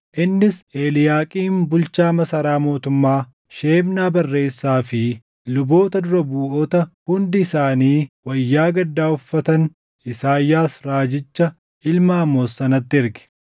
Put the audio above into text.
Innis Eliiyaaqiim bulchaa masaraa mootummaa, Shebnaa barreessaa fi luboota dura buʼoota hundi isaanii wayyaa gaddaa uffatan Isaayyaas raajicha ilma Amoos sanatti erge.